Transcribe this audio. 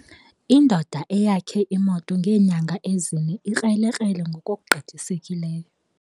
Indoda eyakhe imoto ngeenyanga ezine ikrelekrele ngokugqithiseleyo.